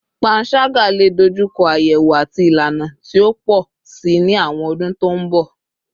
Panṣaga le dojuko ayewo ati ilana ti o pọ si ni awọn ọdun to n bọ